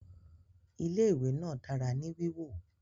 Ilé ìwé náà dára ní wíwọ